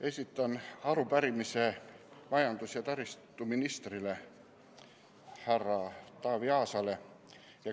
Esitan arupärimise majandus- ja taristuministrile, härra Taavi Aasale.